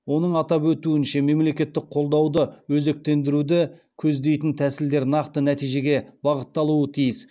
оның атап өтуінше мемлекеттік қолдауды өзектендіруді көздейтін тәсілдер нақты нәтижеге бағытталуы тиіс